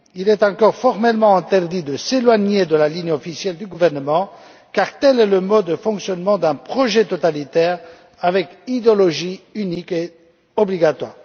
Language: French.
Il est encore formellement interdit de s'éloigner de la ligne officielle du gouvernement, car tel est le mode de fonctionnement d'un projet totalitaire avec une idéologie unique et obligatoire.